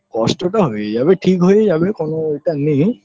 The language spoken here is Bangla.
কষ্টটা হয়ে যাবে ঠিক হয়ে যাবে কনো এটা নেই